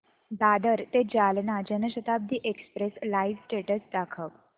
दादर ते Jalna Jan Shatabdi express live status दाखव